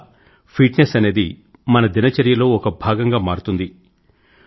ఇందువల్ల fitness అనేది మన దిన చర్యలో ఒక భాగం గా మారుతుంది